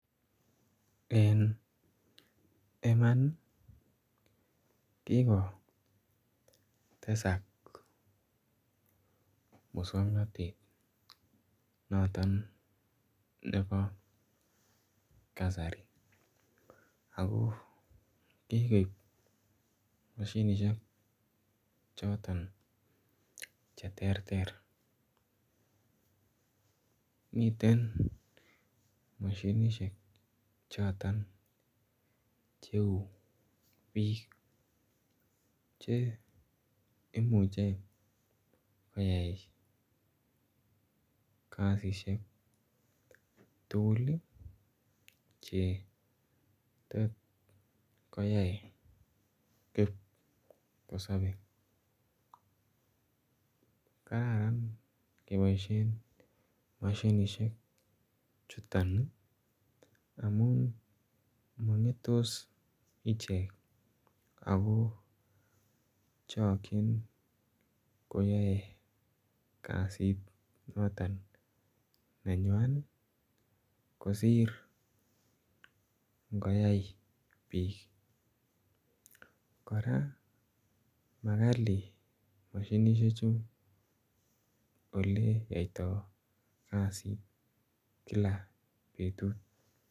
Eng imaan ii kikotesaak Musangnatet notoon nebo kasari ako kikoob mashinisheek chotoon che terter miten mashinisheek chotoon che uu biik che imuche koyai kasisiek tuguul che tot koyai kipkosabe kararan kebaisheen mashinisheek chutoon amuun mangetos icheek ako chakyiin koyae kasiit notoon nenywan ii kosiir ibgoyai biik kora makali mashinisheek chuu ole yaitaa kasiit kila betut.